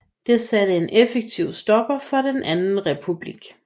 Det satte en effektiv stopper for den anden republik